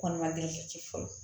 Kɔnɔma deli ka ci fɔlɔ